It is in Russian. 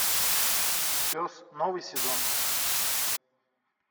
пес новый сезон